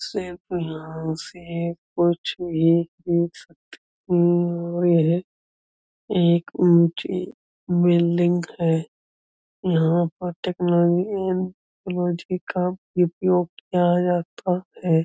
। यह एक ऊँची बिल्डिंग है। यहाँ पर टेक्नोलॉजी एवं का उपयोग किया जाता है।